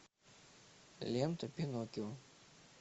лента пиноккио